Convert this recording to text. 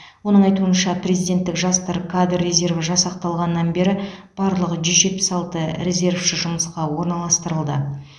оның айтуынша президенттік жастар кадр резерві жасақталғаннан бері барлығы жүз жетпіс алты резервші жұмысқа орналастырылды